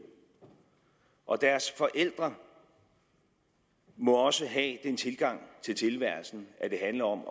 og deres forældre må også have den tilgang til tilværelsen at det handler om